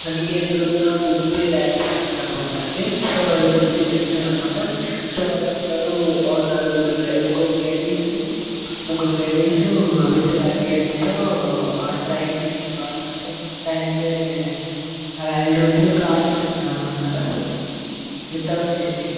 మనకి ఎదురుంగా Gooty railway station కనపడుతుంది సో అది గుత్తి జెక్షన్ అన్నమాట సో వలందరు నలుగురు లే ముగ్గురు లాడ్డీస్ ముగ్గురు లాడ్డీస్ విత్ లగ్గవజ్ తో ఆ ట్రైన్ ని క్ర ఆం మ్మ్ ట్రైన్ వెళ్లే రైల్ రూట్ ని క్రాస్ చేస్తున్నారన్నమాట విత్ ఔట్ సాఫ్ట్య్ .